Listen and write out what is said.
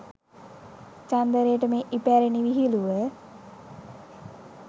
චන්දරේට මේ ඉපැරණි විහිළුව